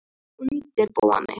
Ég var að undirbúa mig.